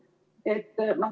Aeg!